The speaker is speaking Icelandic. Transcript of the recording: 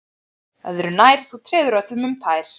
Öðru nær, þú treður öllum um tær